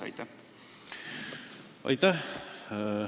Aitäh!